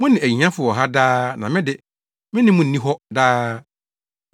Mo ne ahiafo wɔ ha daa na me de, me ne mo nni hɔ daa.